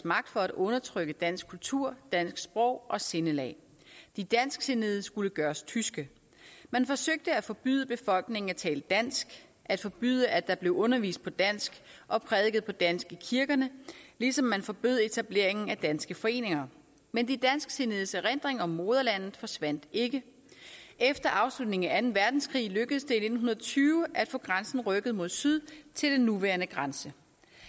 magt for at undertrykke dansk kultur og dansk sprog og sindelag de dansksindede skulle gøres tyske man forsøgte at forbyde befolkningen at tale dansk at forbyde at der blev undervist på dansk og prædiket på dansk i kirkerne ligesom man forbød etableringen af danske foreninger men de dansksindedes erindring om moderlandet forsvandt ikke efter afslutningen af verdenskrig lykkedes det i nitten tyve at få grænsen rykket mod syd til den nuværende grænse